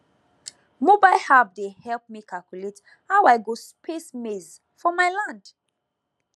mobile app dey help me calculate how i go space maize for my land